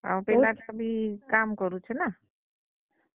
ଆର୍ ପିଲା ଟା ବି କାମ କରୁଛେ ନାଁ।